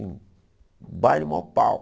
Um baile maior pau.